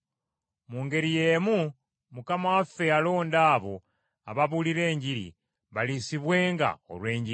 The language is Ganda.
Mu ngeri y’emu Mukama waffe yalonda abo ababuulira Enjiri baliisibwenga olw’Enjiri.